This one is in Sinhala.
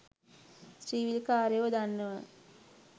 ත්‍රීවීල්කාරයෝ දන්නවා